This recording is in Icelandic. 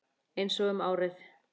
Einsog um árið.